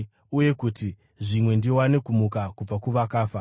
uye kuti, zvimwe, ndiwane kumuka kubva kuvakafa.